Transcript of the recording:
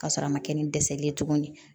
Ka sɔrɔ a ma kɛ ni dɛsɛ ye tuguni